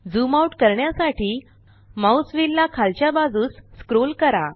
zoom out करण्यासाठी mouse wheel ला खालच्या बाजूस स्क्रोल करा